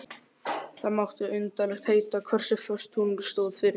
Það mátti undarlegt heita hversu föst hún stóð fyrir.